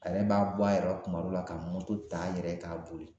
A yɛrɛ b'a bɔ a yɛrɛ rɔ kuma dɔ la, ka ta a yɛrɛ ye k'a boli